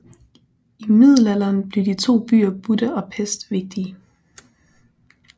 I middelalderen blev de to byer Buda og Pest vigtige